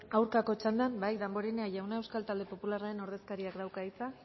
aurkako txandan bai damborenea jauna euskal talde popularraren ordezkariak dauka hitza